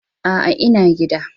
A'a, ina gida.